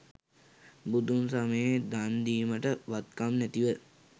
බුදුන් සමයේ දන්දීමට වත්කම් නැතිව,